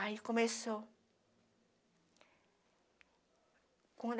Aí começou.